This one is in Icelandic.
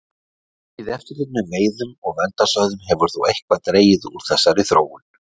Aukið eftirlit með veiðum og verndarsvæðum hefur þó eitthvað dregið úr þessari þróun.